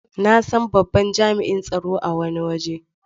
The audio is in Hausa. Na san babban jami'in tsaro a wani waje.